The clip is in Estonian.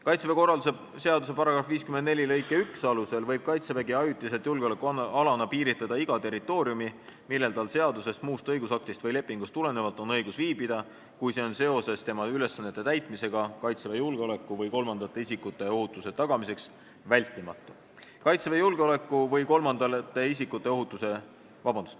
"Kaitseväe korralduse seaduse" § 54 lõike 1 alusel võib Kaitsevägi ajutiselt julgeolekualana piiritleda iga territooriumi, millel tal seadusest, muust õigusaktist või lepingust tulenevalt on õigus viibida, kui see on seoses tema ülesannete täitmisega Kaitseväe julgeoleku või kolmandate isikute ohutuse tagamiseks vältimatu.